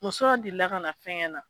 Muso dɔ delila ka na fɛn kɛ na.